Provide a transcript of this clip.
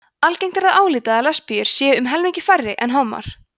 algengt er að álíta að lesbíur séu um helmingi færri en hommar